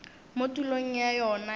mo tulong ya yona ya